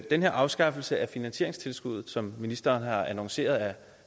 den her afskaffelse af finansieringstilskuddet som ministeren har annonceret er